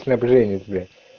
снабженец блять